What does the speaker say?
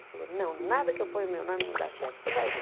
Ele falou, não, nada que eu ponha o meu nome não dá certo, você vai ver.